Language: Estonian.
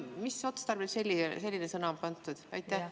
Mis otstarbel selline sõna on sinna pandud?